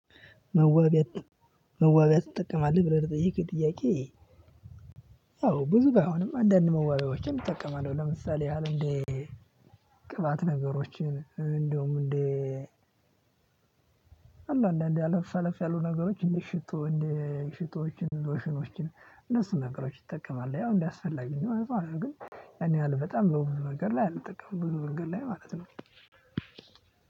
መዋቢያ ትጠቀማለህ ብለህ ለጠየቅከኝ ጥያቄ? አዎ ብዙ ባይሆንም አንዳንድ መዋቢያዎችን እጠቀማለሁ። ለምሳሌ ያህል እንደ ቅባት ነገሮችን እንደውም እንደ አለ አለ አለፍ አለፍ ያሉ ነገሮችን እንዴ ሽቶ እንዴ ሽቶዎችን ሎሽኖችን እነሱን ነገሮች ይጠቀማል ያው እንደአስፈላጊነቱ ነው። አረ ግን ያን ያህል በጣም በብዙ ነገር ላይ አልጠቀምም በብዙ መንገድ ላይ ማለት ነው።